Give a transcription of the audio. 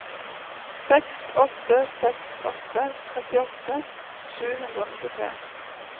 seks åtte seks åtte trettiåtte sju hundre og nittitre